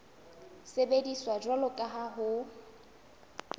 sebediswa jwalo ka ha ho